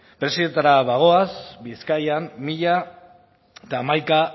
preziotara bagoaz bizkaian mila hamaika